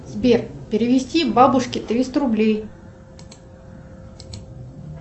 сбер перевести бабушке триста рублей